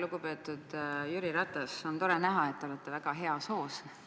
Lugupeetud Jüri Ratas, on tore näha, et te olete väga heas hoos.